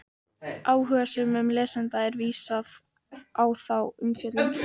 Áhugasömum lesanda er vísað á þá umfjöllun.